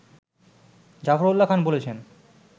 জাফরউল্লাহ খান বলেছেন